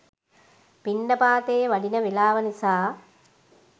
පිණ්ඩපාතේ වඩින වේලාව නිසා